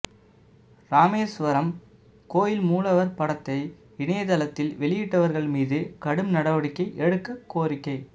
ராமேசுவரம் கோயில் மூலவா் படத்தை இணைய தளத்தில் வெளியிட்டவா்கள் மீது கடும் நடவடிக்கை எடுக்க கோரிக்கை